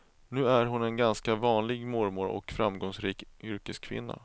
Nu är hon en ganska vanlig mormor och framgångsrik yrkeskvinna.